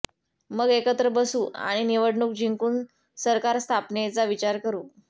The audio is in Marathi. मग एकत्र बसू आणि निवडणूक जिंकून सरकार स्थापनेचा विचार करू